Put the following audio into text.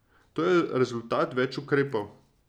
To je rezultat več ukrepov.